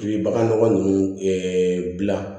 I bɛ bagan nɔgɔ ninnu ɛɛ gilan